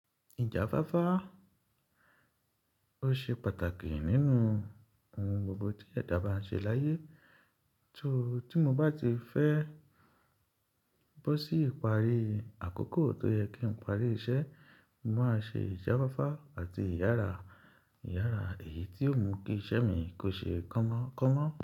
Ìjáfáfá ó ṣe pàtàkì nínú ohun gbogbo tí ẹ̀dá bá ń ṣe láyé. So, tí mo bá ti fẹ́ bó sí ìparí àkókò tó yẹ kí n parí iṣẹ́, mo máa ṣe ìjáfáfá àti ìyára. Ìyára èyí tí yóò mú kí iṣẹ́ mi kó ṣe kánmọ́ kánmọ́